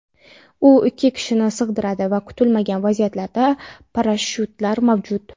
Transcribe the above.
U ikki kishini sig‘diradi va kutilmagan vaziyatlarda parashyutlar mavjud.